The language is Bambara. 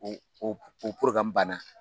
O o o banna.